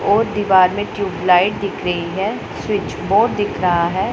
और दीवार में ट्यूबलाइट दिख रहीं हैं स्विच बोर्ड दिख रहा हैं।